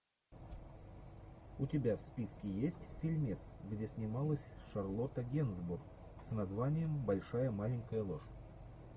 у тебя в списке есть фильмец где снималась шарлотта генсбур с названием большая маленькая ложь